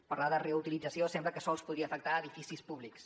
parlar de reutilització sembla que sols podria afectar edificis públics